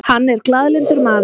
Hann er glaðlyndur maður.